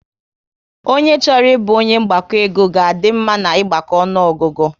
Ọnye chọrọ ịbụ onye mgbakọ ego ga a dị mma na ịgbako ọnụọgụgụ